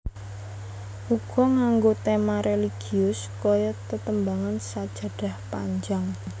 Uga nganggo tema religius kaya tetembangan Sajadah Panjang